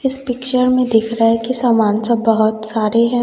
इस पिक्चर में दिख रहा है कि सामान सब बहोत सारे हैं।